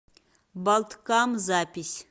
балткам запись